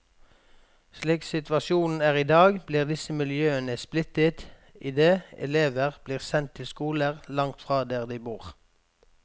Slik situasjonen er i dag, blir disse miljøene splittet idet elever blir sendt til skoler langt fra der de bor.